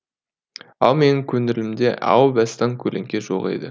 ал менің көңілімде әу бастан көлеңке жоқ еді